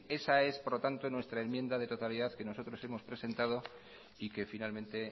esta es por lo tanto nuestra enmienda de totalidad que nosotros hemos presentado y que finalmente